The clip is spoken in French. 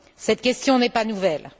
Cette question n'est pas nouvelle.